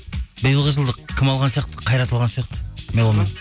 биылғы жылды кім алған сияқты қайрат алған сияқты меломан